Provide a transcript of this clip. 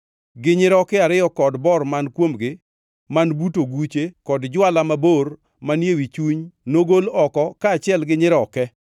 gi nyiroke ariyo kod bor man kuomgi man but oguche kod jwala mabor manie wi chuny nogol oko kaachiel gi nyiroke.